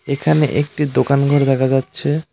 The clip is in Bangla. এখানে একটি দোকানঘর দেখা যাচ্ছে।